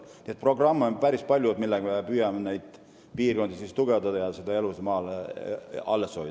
Nii et on päris palju programme, millega me püüame neid piirkondi tugevdada ja elu maal alles hoida.